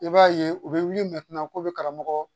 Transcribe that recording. I b'a ye u bɛ wuli ko be karamɔgɔ